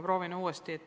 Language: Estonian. Proovin uuesti.